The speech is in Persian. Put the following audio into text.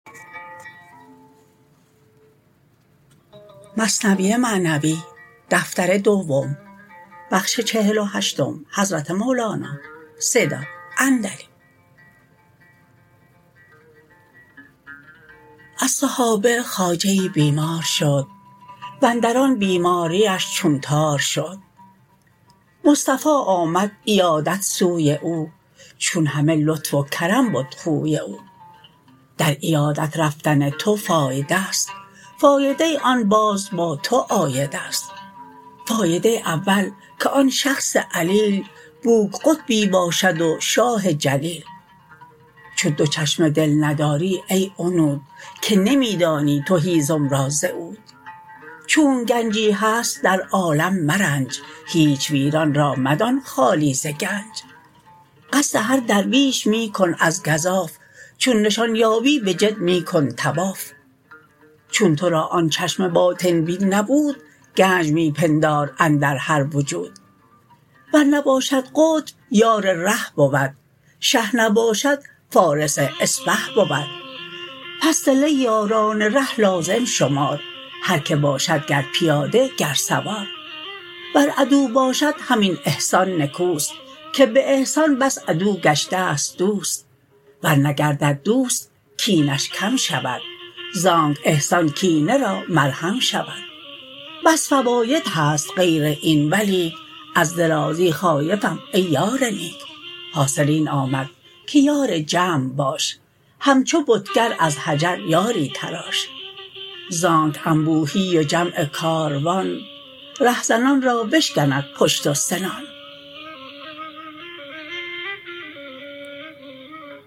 از صحابه خواجه ای بیمار شد واندر آن بیماریش چون تار شد مصطفی آمد عیادت سوی او چون همه لطف و کرم بد خوی او در عیادت رفتن تو فایده ست فایده آن باز با تو عاید است فایده اول که آن شخص علیل بوک قطبی باشد و شاه جلیل چون دو چشم دل نداری ای عنود که نمی دانی تو هیزم را ز عود چونک گنجی هست در عالم مرنج هیچ ویران را مدان خالی ز گنج قصد هر درویش می کن از گزاف چون نشان یابی به جد می کن طواف چون تو را آن چشم باطن بین نبود گنج می پندار اندر هر وجود ور نباشد قطب یار ره بود شه نباشد فارس اسپه بود پس صله یاران ره لازم شمار هر که باشد گر پیاده گر سوار ور عدو باشد همین احسان نکوست که به احسان بس عدو گشته ست دوست ور نگردد دوست کینش کم شود زانک احسان کینه را مرهم شود بس فواید هست غیر این ولیک از درازی خایفم ای یار نیک حاصل این آمد که یار جمع باش همچو بتگر از حجر یاری تراش زانک انبوهی و جمع کاروان ره زنان را بشکند پشت و سنان